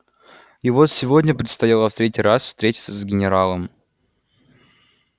и вот сегодня предстояло в третий раз встретиться с генералом